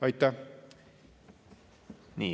Aitäh!